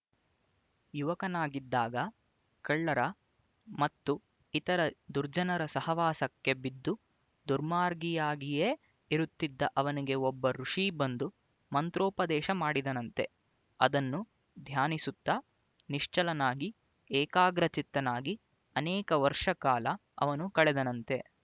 ಯುವಕನಾಗಿದ್ದಾಗ ಕಳ್ಳರ ಮತ್ತು ಇತರ ದುರ್ಜನರ ಸಹವಾಸಕ್ಕೆ ಬಿದ್ದು ದುರ್ಮಾರ್ಗಿಯಾಗಿಯೇ ಇರುತ್ತಿದ್ದ ಅವನಿಗೆ ಒಬ್ಬ ಋಷಿ ಬಂದು ಮಂತ್ರೋಪದೇಶ ಮಾಡಿದನಂತೆ ಅದನ್ನು ಧ್ಯಾನಿಸುತ್ತ ನಿಶ್ಚಲನಾಗಿ ಏಕಾಗ್ರಚಿತ್ತನಾಗಿ ಅನೇಕ ವರ್ಷ ಕಾಲ ಅವನು ಕಳೆದನಂತೆ